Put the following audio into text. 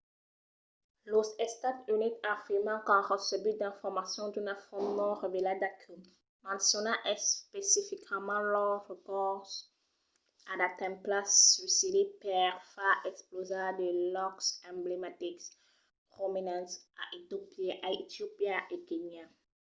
los estats units afirman qu’an recebut d’informacions d’una font non revelada que menciona especificament lo recors a d’atemptats suïcidi per far explosar de lòcs emblematics prominents a etiopia e kenya